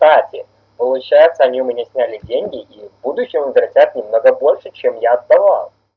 кстати получается они у меня сняли деньги и в будущем возвратят немного больше чем я отдавал